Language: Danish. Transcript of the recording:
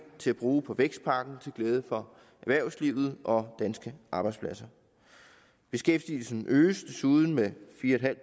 til at bruge på vækstpakken til glæde for erhvervslivet og danske arbejdspladser beskæftigelsen øges desuden med fire